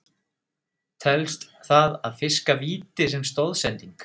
Telst það að fiska víti sem stoðsending?